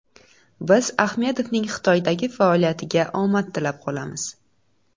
Biz Ahmedovning Xitoydagi faoliyatiga omad tilab qolamiz.